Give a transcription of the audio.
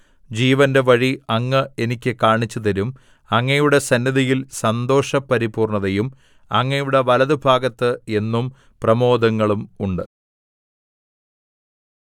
ജീവന്റെ വഴി അങ്ങ് എനിക്ക് കാണിച്ചുതരും അങ്ങയുടെ സന്നിധിയിൽ സന്തോഷപരിപൂർണ്ണതയും അങ്ങയുടെ വലത്തുഭാഗത്ത് എന്നും പ്രമോദങ്ങളും ഉണ്ട്